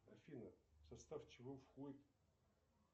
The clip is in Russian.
афина в состав чего входит